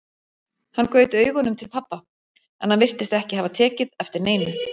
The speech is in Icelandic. Hann gaut augunum til pabba, en hann virtist ekki hafa tekið eftir neinu.